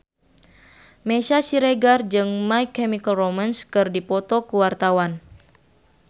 Meisya Siregar jeung My Chemical Romance keur dipoto ku wartawan